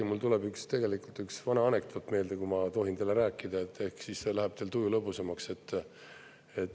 Ja mul tuleb tegelikult üks vana anekdoot meelde, kui ma tohin teile rääkida, ehk siis läheb teil tuju lõbusamaks.